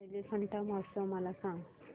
एलिफंटा महोत्सव मला सांग